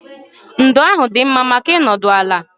Ndo ahụ dị mma maka ịnọdụ ala